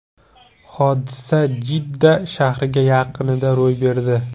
Hodisa Jidda shahri yaqinida ro‘y berdi.